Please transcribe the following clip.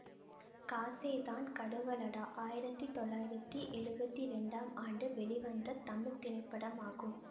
காசே தான் கடவுளடா ஆயிரத்தி தொள்ளாயிரத்தி எழுவத்தி இரண்டாம் ஆண்டு வெளிவந்த தமிழ் திரைப்படமாகும்